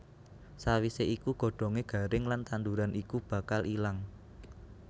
Sawisé iku godhongé garing lan tanduran iku bakal ilang